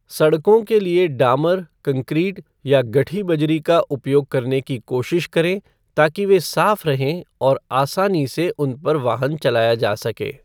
सड़कों के लिए डामर, कंक्रीट, या गठी बजरी का उपयोग करने की कोशिश करें ताकि वे साफ रहें और आसानी से उनपर वाहन चलया जा सके।